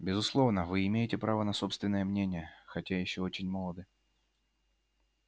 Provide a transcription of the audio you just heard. безусловно вы имеете право на собственное мнение хотя ещё очень молоды